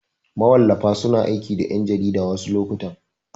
Mawallafa suna aiki da ƴan jarida wasu lokutan.